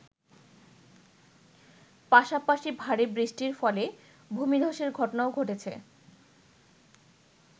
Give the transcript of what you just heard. পাশাপাশি ভারী বৃষ্টির ফলে ভূমিধ্বসের ঘটনাও ঘটেছে।